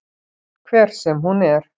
Hver sem hún er.